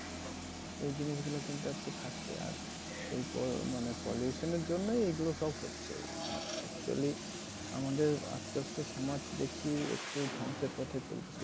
এই জিনিসগুল কিন্তু একটু থাকতো আর এই বড় মানে pollution এর জন্যই এইগুলো সব হচ্ছে আর actually আমদের আসতে আসতে সমাজ দেখছি একটু ধ্বংসের পথে চলছে।